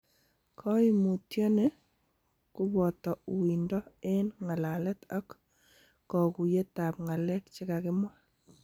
Koimutioni koboto uindo en ng'alalalet ak koguyetab ng'alek chekakimwa.